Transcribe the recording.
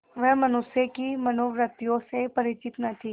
वह मनुष्य की मनोवृत्तियों से परिचित न थी